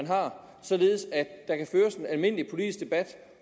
har således at der kan føres en almindelig politisk debat